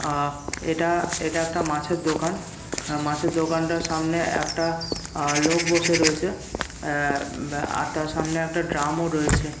আ এটা-আ এটা একটা মাছের দোকান আ মাছের দোকানটার সামনে একটা আ লোক বসে রয়েছে আ উব আর তার সামনে একটা ড্রাম -ও রয়েছে।